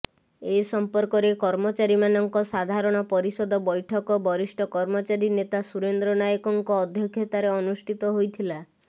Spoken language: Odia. ଏ ସମ୍ପର୍କରେ କର୍ମଚାରୀମାନଙ୍କ ସାଧାରଣ ପରିଷଦ ବୈଠକ ବରିଷ୍ଠ କର୍ମଚାରୀ ନେତା ସୁରେନ୍ଦ୍ର ନାୟକଙ୍କ ଅଧ୍ୟକ୍ଷତାରେ ଅନୁଷ୍ଠିତ ହୋଇଥିଲା